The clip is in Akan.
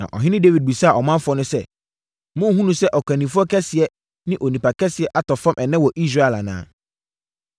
Na ɔhene Dawid bisaa ɔmanfoɔ no sɛ, “Monhunu sɛ ɔkannifoɔ kɛseɛ ne onipa kɛseɛ atɔ fam ɛnnɛ wɔ Israel anaa?